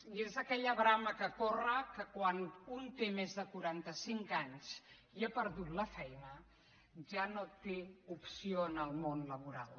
i és aquella brama que corre que quan un té més de quaranta cinc anys i ha perdut la feina ja no té opció en el món laboral